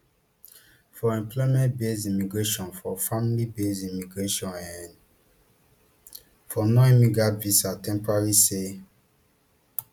for employment basedimmigration for familybased immigration um for nonimmigrant visas temporary stay